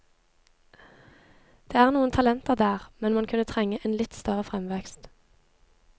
Det er noen talenter der, men man kunne trenge en litt større fremvekst.